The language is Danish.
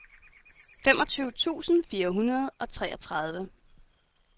femogtyve tusind fire hundrede og treogtredive